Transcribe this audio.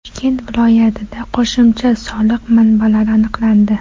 Toshkent viloyatida qo‘shimcha soliq manbalari aniqlandi.